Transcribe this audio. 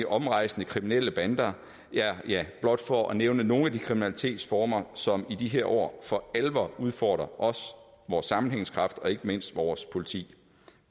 omrejsende kriminelle bander det er blot for at nævne nogle af de kriminalitetsformer som i de her år for alvor udfordrer os vores sammenhængskraft og ikke mindst vores politi